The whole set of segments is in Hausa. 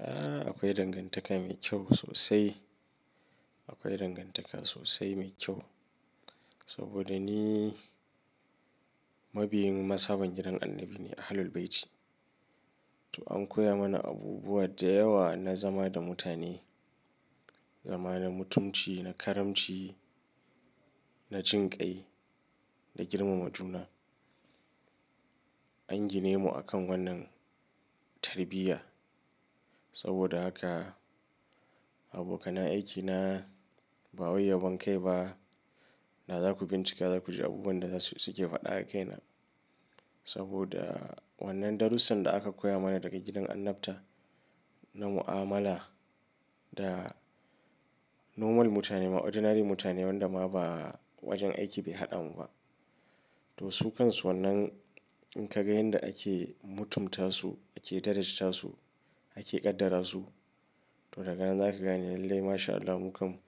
A akwai dangantaka mai kyau sosai. Akwai dangantaka sosai mai kyau. Saboda ni mabiyin ma sabon gidan annabi ne a Ahlul Bayti. To an koya mana abubuwa da yawa na zama da mutane, zama da mutunci, na karamci, na jinƙai, da girmama juna. An gine mu akan wannan tarbiyya saboda haka abokana aikina ba waye ya banƙai ba. Da za ku bincika, za ku ji abubuwan da suke faɗa a kaina. Saboda wannan darussan da aka koya mana daga gidan annabta na mu'amala da normal mutane ma ordinary mutanen wanda ma ba wajen aiki bai haɗa mu ba. To su kansu wannan in ka ga yanda ake mutunta su, ake darajanta su, ake ƙaddara su, to daga nan za ka gane lallai masha Allah mu kam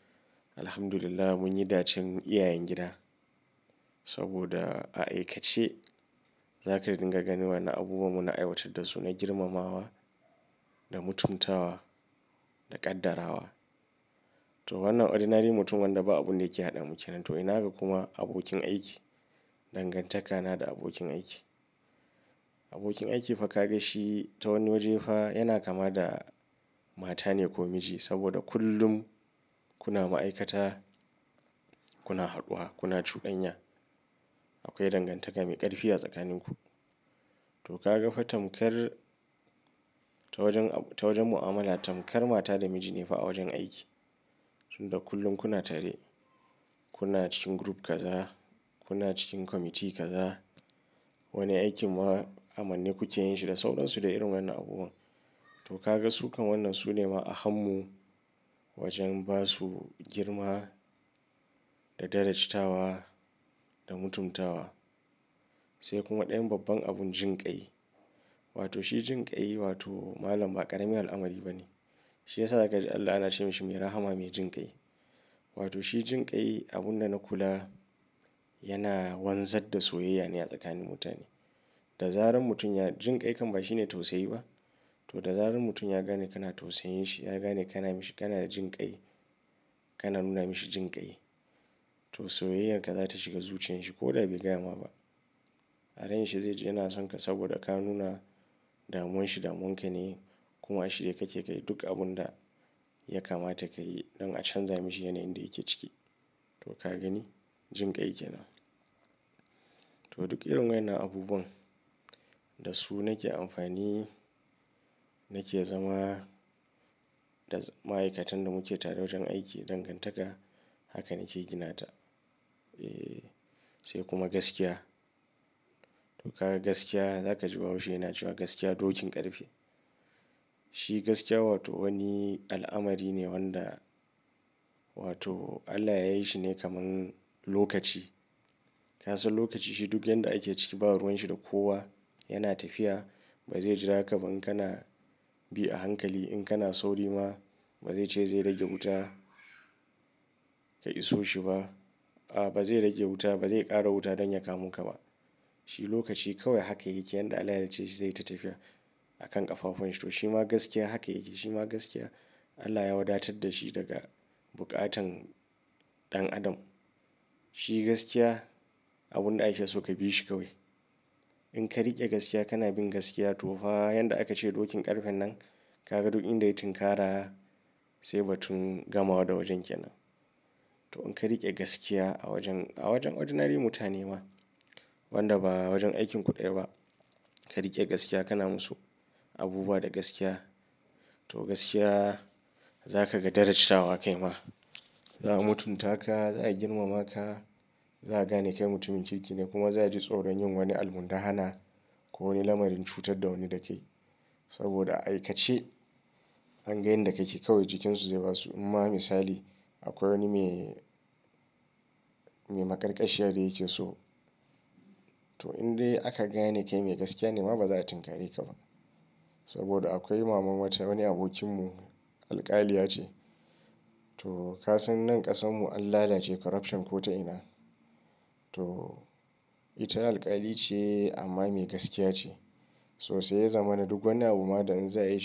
Alhamdulillah mun yi dacen iyayen gida. Saboda a aikace za ka riƙa ganin wannan abubuwa muna aiwatar da su na girmamawa, da mutuntawa, da ƙaddara wa. To wannan ordinary mutum wanda ba abunda ke haɗa muke nan. To ina ga kuma abokin aiki, dangantaka na da abokin aiki. Abokin aiki fa ka ga shi ta wani waje fa yana kama da mata ne ko miji. Saboda kullum kuna ma'aikata, kuna haɗuwa, kuna cudanya. Akwai dangantaka mai ƙarfi a tsakanin ku. To ka ga fa tamkar ta wajen, ta wajen mu'amala tamkar mata da miji ne fa a wajen aiki. Tunda kullum kuna tare, kuna cikin group kaza, kuna cikin committee kaza. Wani aikin ma'amanni kuke yin shi da sauransu da irin wannan abubuwan. To ka ga su kan wannan su ne ma a hannu wajen ba su girma, da darajatawa, da mutuntawa. Sai kuma ɗayan babban abun jinƙai. Wato shi jinƙai wato malam ba ƙarami al'amari ba ne. Shi ya sa za ka ji Allah ana ce mishi mai rahama mai jinƙai. Wato shi jinƙai abun da na kula yana wanzar da soyayya ne a tsakanin mutane. Da zaran mutum ya jinƙai kam ba shi ne tausayi ba. To da zaran mutum ya gane kana tausayin shi, ya gane kana mishi, kana da jinƙai, kana nuna mishi jinƙai. To soyayyar ka za ta shiga zuciyar shi ko da bai gaya ma ba. A ran shi zai ji yana son ka saboda ka nuna damuwan shi damunwa ka ne kuma shi da ka ke kai duk abun da ya kamata ka yi don a canza mishi yanayin da yake ciki. To ka gani jinƙai ke nan. To duk irin wannan abubuwan da su nake amfani nake zama da ma'aikatan da muke tare wajen aiki dangantaka haka nake gina ta. E, sai kuma gaskiya. To ka ga gaskiya za ka ji bahaushe yana cewa gaskiya dokin ƙarfe. Shi gaskiya wato wani al'amari ne wanda wato Allah ya yi shi ne kamar lokaci. Ka san lokaci shi duk yanda ake ciki ba ruwan shi da kowa yana tafiya. Ba zai jira ka ba in kana bi a hankali. In kana sauri ma ba zai ce zai rage wuta ka iso shi ba. A ba zai rage wuta ba zai ƙara wuta don ya kamu ka ba. Shi lokaci kawai haka yake yi. Yanda Allah ya ce shi zai yi ta tafiya a kan ƙafafun shi. To shi ma gaskiya haka yake yi. Shi ma gaskiya Allah ya wadatar da shi daga buƙatan ɗan adam. Shi gaskiya abun da aka so ka bi shi kawai. In ka riƙe gaskiya kana bin gaskiya to fa yanda aka ce dokin ƙarfen nan ka ga duk inda ya yi tun kara sai ba tun gamawa da wajen ke nan. To in ka riƙe gaskiya a wajen, a wajen ordinary mutane ma wanda ba wajen aikin ku ɗaya ba. Ka riƙe gaskiya kana musu abubuwa da gaskiya. To gaskiya za ka ga darajatawa a kai ma. Za a mutunta ka, za a girmama ka, za a gane kai mutumin kirki ne kuma za a ji tsoron yin wani almun da hana ko wani lamarin cutar da wani da kai. Saboda a aikace an ga yanda ka ke kawai jikin su zai ba su. Amma misali akwai wani mai, mai maƙarƙashiya da yake so. To in dai aka gane kai mai gaskiya ne ma ba za a tunkare ka ba. Saboda akwai mama wata wani abokinmu alƙaliya ce. To ka san nan ƙasan mu an lala ce corruption ko ta ina. To ita alƙali ce amma mai gaskiya ce. Sosai ya zama na duk wani abu ma da in za a yi.